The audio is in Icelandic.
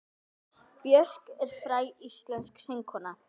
Björk er fræg íslensk söngkona.